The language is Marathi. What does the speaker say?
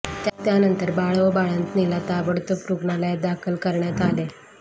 त्यानंतर बाळ व बाळंतिणीला ताबडतोब रुग्णालयात दाखल करण्यात आले